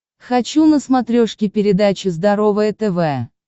хочу на смотрешке передачу здоровое тв